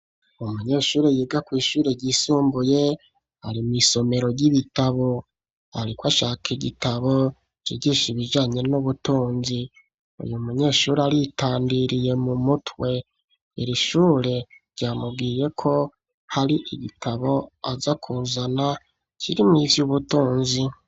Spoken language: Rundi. Umunyeshure yiga kw'ishure ryisumbuye ari mw'isomero ry'ibitabo ,ariko ashaka igitabo cigisha ibijanye n'ubutunzi ,uyu munyeshuri aritandiriye mu mutwe ,iri shure ryamubwiye ko hari igitabo aza kuzana kiri mw'ivy'ubutunzi.